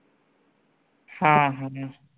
हां हां हम्म